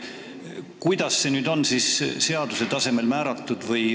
Kuidas see on seaduse tasemel kindlaks määratud?